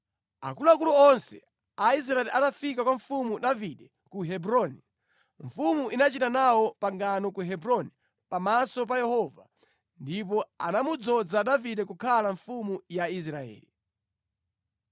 Akuluakulu onse a Israeli atafika kwa Mfumu Davide ku Hebroni, mfumu inachita nawo pangano ku Hebroni pamaso pa Yehova, ndipo anamudzoza Davide kukhala mfumu ya Israeli.